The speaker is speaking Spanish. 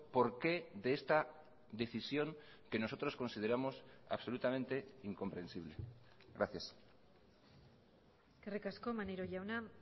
por qué de esta decisión que nosotros consideramos absolutamente incomprensible gracias eskerrik asko maneiro jauna